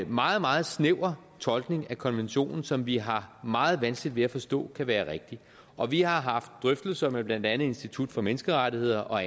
meget meget snæver tolkning af konventionen som vi har meget vanskeligt ved at forstå kan være rigtig og vi har haft drøftelser med blandt andet institut for menneskerettigheder og